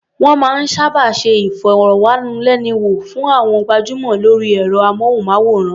Wọ́n máa ń sábà ṣe ìfọ̀rọ̀wánilẹ́nuwò fún àwọn gbajúmọ̀ lórí ẹ̀rọ-amóhùnmáwòrán.